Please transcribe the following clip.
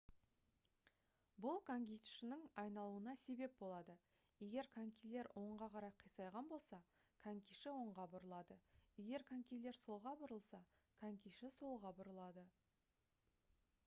бұл конькишінің айналуына себеп болады егер конькилер оңға қарай қисайған болса конькиші оңға бұрылады егер конькилер солға бұрылса конькиші солға бұрылады